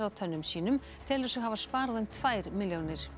á tönnum sínum telur sig hafa sparað hátt í tvær milljónir